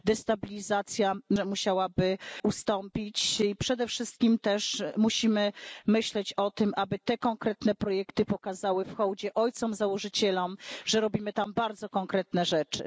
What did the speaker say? Myślę, że destabilizacja musiałaby ustąpić, i przede wszystkim też musimy myśleć o tym, aby te konkretne projekty pokazały w hołdzie ojcom założycielom, że robimy tam bardzo konkretne rzeczy.